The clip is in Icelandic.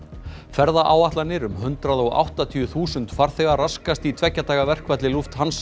ferðaáætlanir um hundrað og áttatíu þúsund farþega raskast í tveggja daga verkfalli